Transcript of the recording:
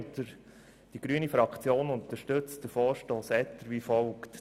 Die grüne Fraktion unterstützt den Vorstoss Etter wie folgt.